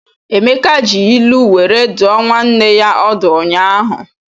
Emeka ji ilu were dụọ nwanne ya ọdụ ụnyaahụ.